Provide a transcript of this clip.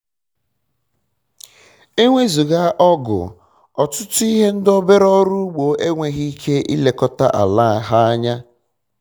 ewezuga ọgụ ọtụtụ ndị obere ọrụ ugbo enweghi ike ilekọta ala ha anya